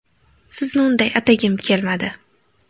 Sizni unday atagim kelmadi.